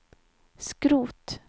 skrot